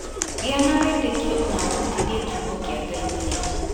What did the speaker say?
Gia na wĩtĩkio na ũrutithie kiugo kĩa Ngai Wĩra